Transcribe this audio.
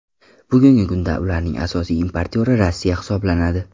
Bugungi kunda ularning asosiy importyori Rossiya hisoblanadi.